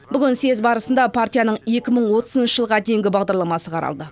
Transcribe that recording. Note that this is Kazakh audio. бүгін съез барысында партияның екі мың отызыншы жылға дейінгі бағдарламасы қаралды